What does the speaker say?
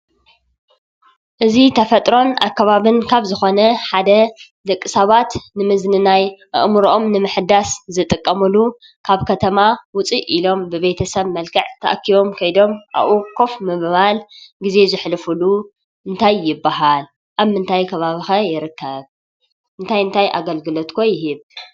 እዚ ተፈጥሮን ኣከባብን ካብ ዝኾነ ሓደ ደቂ ሰባት ንምዝንናይ ኣእምርኦም ንምሕዳስ ዝጥቀምሉ ካብ ከተማ ውፅእ ኢሎም ብቤተሰብ መልክዕ ተኣኪቦም ከይዶም ኣብኡ ኮፍ ብምባል ግዜ ዘሕልፉሉ እንታይ ይበሃል? ኣብ ምንታይ ከባቢ'ኸ ይርከብ? እንታይ እንታይ ኣገልግሎት'ከ ይህብ ?